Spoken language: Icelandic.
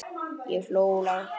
Ég hló lágt.